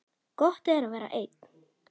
Gott er að vera einn.